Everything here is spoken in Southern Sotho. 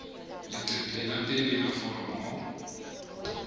leqephe la pele la foromo